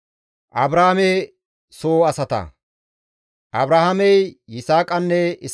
Abrahaamey Yisaaqanne Isma7eele yelides.